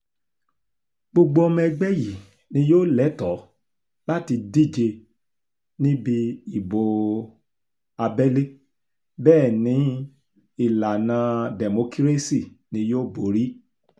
gbogbo ọmọ ẹgbẹ́ yìí ni yóò lẹ́tọ̀ọ́ láti díje níbi ìbò um abẹ́lé bẹ́ẹ̀ ni ìlànà um dẹ́mọkírésì ni yóò borí